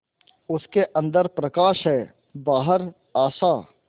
उसके अंदर प्रकाश है बाहर आशा